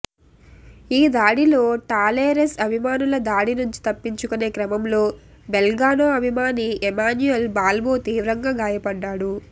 ఈ దాడిలో టాలెరెస్ అభిమానుల దాడి నుంచి తప్పించుకునే క్రమంలో బెల్గ్రానో అభిమాని ఎమాన్యుల్ బాల్బో తీవ్రంగా గాయపడ్డాడు